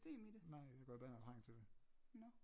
Nej jeg går i bad når jeg trænger til det